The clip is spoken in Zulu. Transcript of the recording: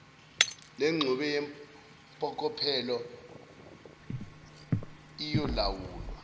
lengxube yempokophelo iyolawulwa